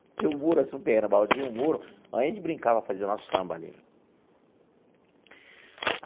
Tinha um muro assim, um terreno baldio, um muro, aí a gente brincava, fazia o nosso samba ali.